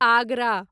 Agra